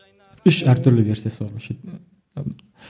үш әртүрлі версиясы бар